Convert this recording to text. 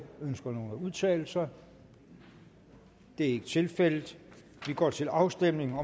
ønsker nogen at udtale sig det er ikke tilfældet og vi går til afstemning